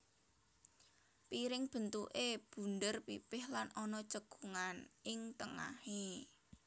Piring bentuké bunder pipih lan ana cekungan ing tengahé